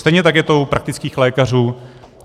Stejně tak je to u praktických lékařů.